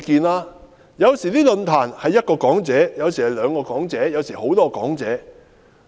論壇有時有一位講者，有時有兩位講者，有時有多位講者。